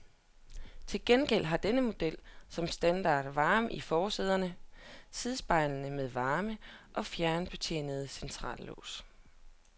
Til gengæld har denne model som standard varme i forsæderne, sidespejle med varme og fjernbetjent centrallås.